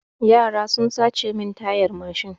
Yara sun sace mun tayar mashin.